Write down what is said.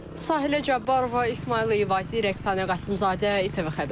Sahilə Cabbarova, İsmayıl Əvəzli, Rəqsanə Qasımzadə, ATV xəbər.